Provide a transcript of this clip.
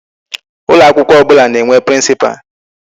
Ụlọ akwụkwọ ọbụla na-enwe principal.